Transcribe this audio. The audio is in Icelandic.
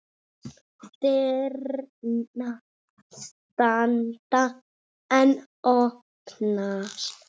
Dyrnar standa enn opnar.